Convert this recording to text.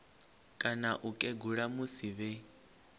kana u kegula musi vhe